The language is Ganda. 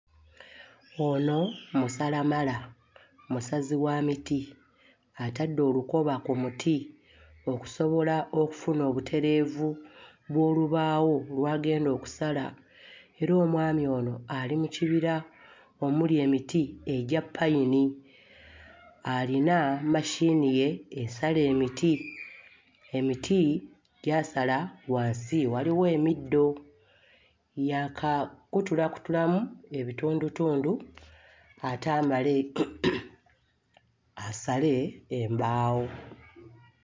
Ono musalamala musazi wa miti, atadde olukoba ku muti okusobola okufuna obutereevu bw'olubaawo lw'agenda okusala era omwami ono ali mu kibira omuli emiti egya ppayini, alina machine ye esala emiti. Emiti gy'asala wansi waliwo emiddo, yaakakutulamu ebitundutundu ate amale asale embaawo.